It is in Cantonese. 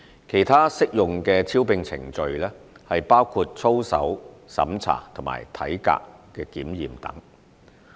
其他適用的招聘程序包括操守審查及體格檢驗等。